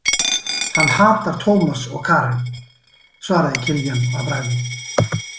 Hann hatar Tómas og Karen, svaraði Kiljan að bragði.